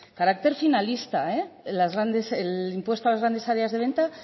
carácter finalista el impuesto a las grandes áreas de venta